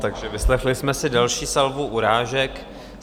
Takže vyslechli jsme si další salvu urážek.